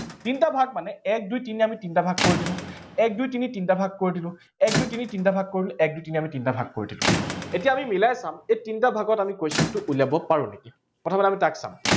তিনিটা ভাগ মানে, এক দুই তিনি আমি তিনিটা ভাগ কৰি দিলো। এক দুই তিনি তিনিটা ভাগ কৰি দিলো এক দুই তিনি তিনিটা ভাগ কৰি দিলো। এক দুই তিনি তিনিটা ভাগ কৰি দিলো এতিয়া আমি মিলাই চাম, এই তিনিটা ভাগত আমি question টো উলিয়াব পাৰো নেকি, প্ৰথমতে আমি তাক চাম